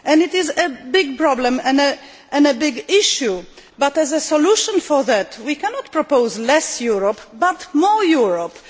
It is a big problem and a big issue, but as a solution to that we cannot propose less Europe, but more Europe.